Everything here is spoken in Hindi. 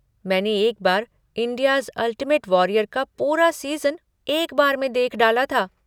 मैंने एक बार 'इंडियाज़ अल्टिमेट वॉरियर' का पूरा सीज़न एक बार में देख डाला था।